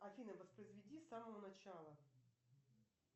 афина воспроизведи с самого начала